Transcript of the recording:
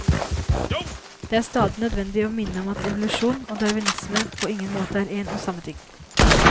Det er stadig nødvendig å minne om at evolusjon og darwinisme på ingen måte er én og samme ting.